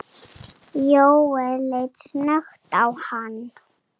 Jóel leit snöggt á hann.